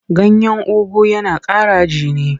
Ganyen ugu yana ƙara jini.